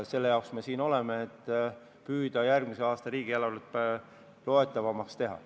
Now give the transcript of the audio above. Selleks me siin oleme, et püüda järgmise aasta riigieelarvet loetavamaks teha.